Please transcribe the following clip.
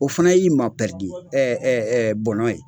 O fana y'i ma pɛridi ye bɔnɔ ye.